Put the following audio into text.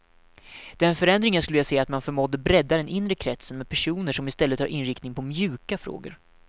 Den förändring jag skulle vilja se är att man förmådde bredda den inre kretsen, med personer som istället har inriktning på mjuka frågor.